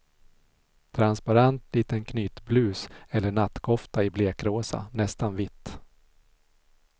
Transparant liten knytblus eller nattkofta i blekrosa, nästan vitt.